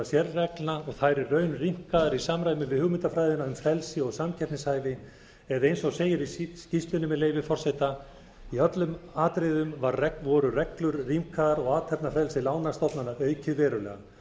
sérreglna og þær í raun rýmkaðar í samræmi við hugmyndafræðina um frelsi og samkeppnishæfi eða eins og segir í skýrslunni með leyfi forseta í öllum atriðum voru reglur rýmkaðar og athafnafrelsi lánastofnana aukið verulega